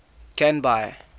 canby